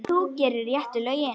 Þú gerir réttu lögin.